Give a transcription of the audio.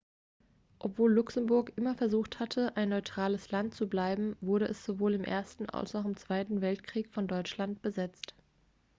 obwohl luxemburg immer versucht hatte ein neutrales land zu bleiben wurde es sowohl im ersten als auch im zweiten weltkrieg von deutschland besetzt